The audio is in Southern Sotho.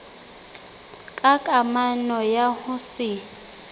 ka kamano ya ho se